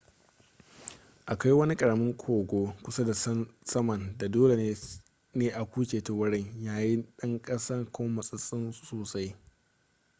akwai wani karamin kogo kusa da saman da dole ne a wuce ta wurin ya yi ɗan ƙasa kuma matsetse sosai